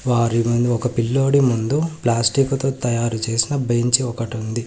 వారి ముందు ఒక పిల్లోడి ముందు ప్లాస్టిక్తో తయారు చేసిన బెంచీ ఒకటి ఉంది.